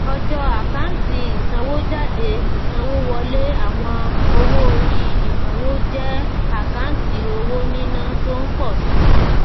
ọjọ́ àkáǹtì ìsanwójáde ìsanwówọlé àwọn owó-orí ìnáwó jẹ́ àkáǹtì owó níná tó ń pọ̀ sí i.